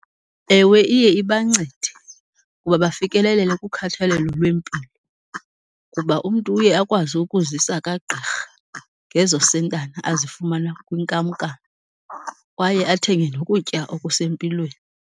Ewe iye ibancede uba bafikelelele kukhathalelo lwempilo kuba umntu uye akwazi ukuzisa kagqirha ngezo sentana azifumana kwinkamnkam kwaye athenge nokutya okusempilweni.